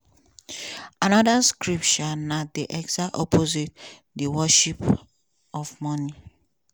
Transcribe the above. anoda script um na di exact opposite di worship of money.